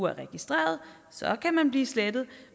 er registreret så kan man blive slettet